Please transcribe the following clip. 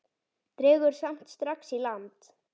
Dregur samt strax í land.